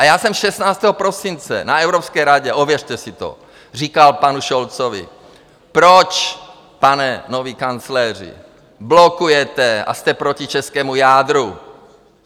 A já jsem 16. prosince na Evropské radě, ověřte si to, říkal panu Scholzovi: Proč, pane nový kancléři, blokujete a jste proti českému jádru?